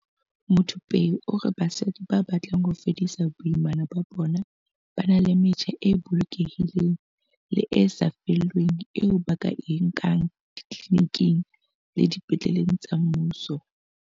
Muthupei o re basadi ba batlang ho fedisa boimana ba bona ba na le metjha e bolokehileng le e sa lefellweng eo ba ka e nkang ditliliniking le dipetleleng tsa mmuso.